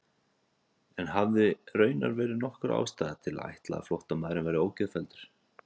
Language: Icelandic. En hafði raunar verið nokkur ástæða til að ætla að flóttamaðurinn væri ógeðfelldur?